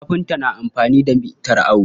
Kafinta na amfani da mitar awo.